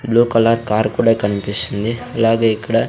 blue colour car కూడా కనిపిస్తుంది అలాగే ఇక్కడ --